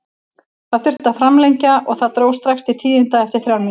Það þurfti að framlengja og þar dró strax til tíðinda eftir þrjár mínútur.